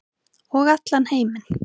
Og allan heiminn.